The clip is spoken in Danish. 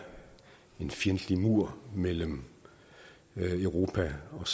en fjendtlig mur mellem europa og